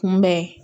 Kunbɛn